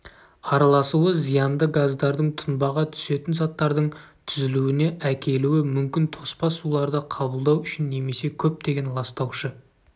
араласуы зиянды газдардың тұнбаға түсетін заттардың түзілуіне әкелуі мүмкін тоспа суларды қабылдау үшін немесе көптеген ластаушы